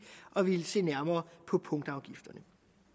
at ville se nærmere på punktafgifterne